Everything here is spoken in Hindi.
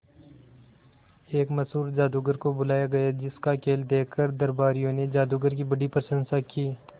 एक मशहूर जादूगर को बुलाया गया जिस का खेल देखकर दरबारियों ने जादूगर की बड़ी प्रशंसा की